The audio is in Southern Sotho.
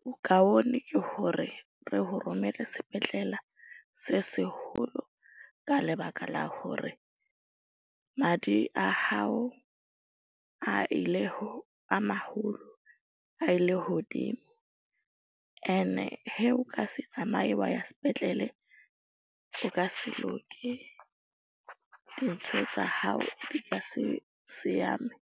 bokaone ke hore re ho romele sepetlela se seholo ka lebaka la hore madi a hao a ile a maholo a ile hodimo. Ene he o ka se tsamaye wa ya spetlele, o ka se loke. Ntho tsa hao di ka se seame.